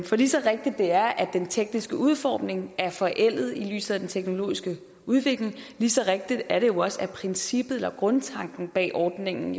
for lige så rigtigt det er at den tekniske udformning er forældet set i lyset af den teknologiske udvikling lige så rigtigt er det jo også at princippet eller grundtanken bag ordningen